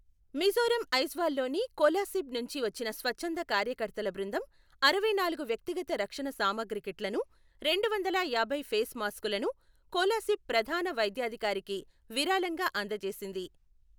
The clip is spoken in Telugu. మిజోరం ఐజ్వాల్లోని కోలాసిబ్ నుంచి వచ్చిన స్వచ్ఛంద కార్యకర్తల బృందం అరవైనాలుగు వ్యక్తిగత రక్షణ సామగ్రి కిట్లను, రెండువందల యాభై ఫేస్ మాస్కులను కోలాసిబ్ ప్రధాన వైద్యాధికారికి విరాళంగా అందజేసింది.